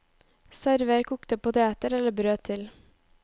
Server kokte poteter eller brød til.